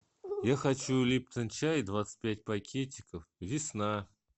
я хочу липтон чай двадцать пять пакетиков весна